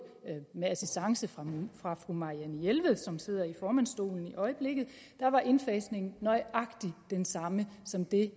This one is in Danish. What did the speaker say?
med assistance fra fra fru marianne jelved som sidder i formandsstolen i øjeblikket indfasningen dengang nøjagtig den samme som det